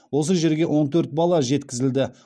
осы жерге он төрт бала жеткізілді